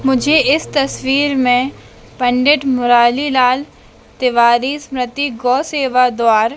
मुझे इस तस्वीर में पंडित मुरारी लाल तिवारी स्मृति गौ सेवा द्वार--